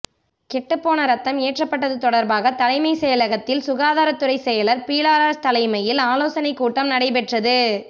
கெட்டுப்போன ரத்தம் ஏற்றப்பட்டது தொடர்பாக தலைமை செயலகத்தில் சுகாதாரத்துறை செயலர் பீலா ராஷ் தலைமையில் ஆலோசனை கூட்டம் நடைபெற்றது